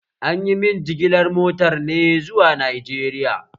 Anyi min jigilar motar ne zuwa Najeriya